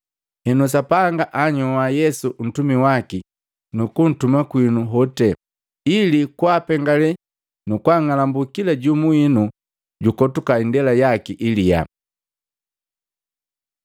Henu Sapanga anhyoa Yesu ntumi waki nukuntuma kwinu hoti, ili kwaapengalee nukung'alambu kila jumu winu jukotuka indela yaki iliyaa.”